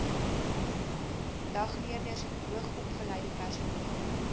dagleerders hoogsopgeleide personeel